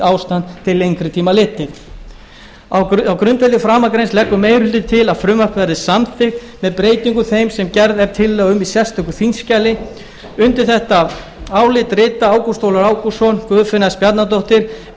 til lengri tíma litið á grundvelli framangreinds leggur meiri hlutinn til að frumvarpið verði samþykkt með breytingum þeim sem gerð er tillaga um í sérstöku þingskjali undir þetta álit rita ágúst ólafur ágústsson guðfinna s bjarnadóttir